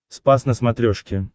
спас на смотрешке